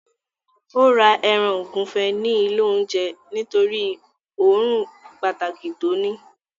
Ó ra ẹran ògúnfe ní ilé oúnjẹ nítorí òórùn pàtàkì tí ó ní